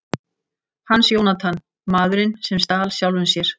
Hans Jónatan: Maðurinn sem stal sjálfum sér.